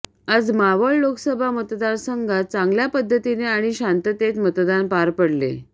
आज मावळ लोकसभा मतदारसंघात चांगल्या पद्धतीने आणि शांततेत मतदान पार पडले